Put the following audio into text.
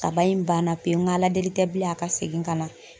Kaba in banna pewu ŋa aladeli tɛ bilen a ka segin ka na.